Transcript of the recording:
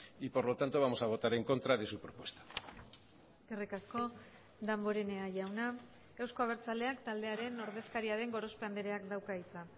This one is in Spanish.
y por lo tanto vamos a votar en contra de su propuesta eskerrik asko damborenea jauna euzko abertzaleak taldearen ordezkaria den gorospe andreak dauka hitza